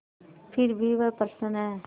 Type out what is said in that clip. फिर भी वह प्रसन्न है